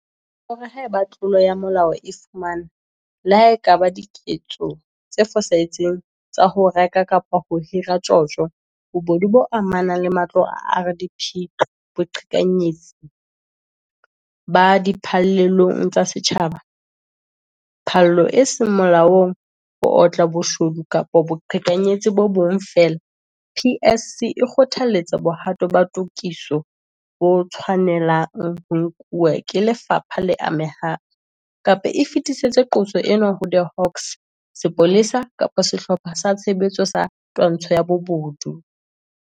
O re haeba tlolo ya molao e fumanwa - le ha e ka ba diketso tse fosahetseng tsa ho reka kapa ho hira, tjotjo, bobodu bo amanang le matlo a RDP, boqhekanyetsi bo di phallelong tsa setjhaba, phallo e seng molaong, ho otla, bo shodu kapa boqhekanyetsi bo bong feela - PSC e kgothaletsa bohato ba tokiso bo tshwane lang ho nkuwa ke lefapha le amehang kapa e fetisetse qoso ena ho The Hawks, Sepolesa kapa Sehlopha sa Tshebetso sa Twantsho ya Bobodu.